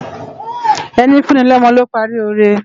Eni fùni lòmò ló pári óré